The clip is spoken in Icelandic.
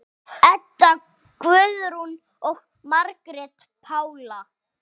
Edda Guðrún og Margrét Pála.